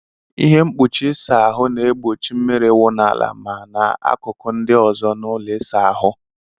Ihe mkpuchi ịsa ahụ na-egbochi mmiri iwu n'ala ma n'akụkụ ndị ozo n'ụlọ ịsa ahụ.